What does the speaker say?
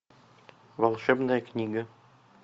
волшебная книга